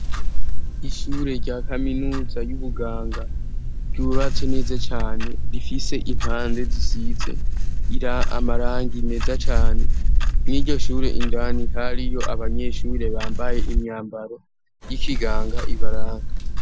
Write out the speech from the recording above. ishure rya kaminuza y'ubuganga ryubatse neza cane rifise impande zisize ira amarangi meza cane n'iryoshure indani hariyo abanyeshure bambaye imyambaro y'ikiganga ibaranga